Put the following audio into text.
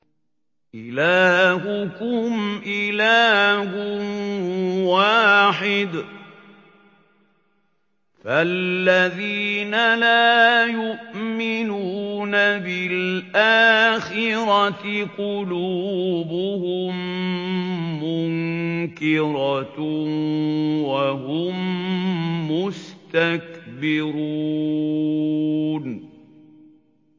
إِلَٰهُكُمْ إِلَٰهٌ وَاحِدٌ ۚ فَالَّذِينَ لَا يُؤْمِنُونَ بِالْآخِرَةِ قُلُوبُهُم مُّنكِرَةٌ وَهُم مُّسْتَكْبِرُونَ